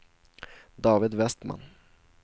David Vestman